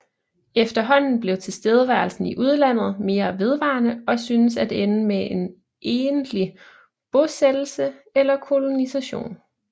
Efterhånden blev tilstedeværelsen i udlandet mere vedvarende og synes at ende med en egentlig bosættelse eller kolonisation